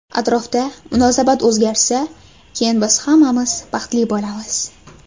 Atrofda munosabat o‘zgarsa, keyin biz hammamiz baxtli bo‘lamiz.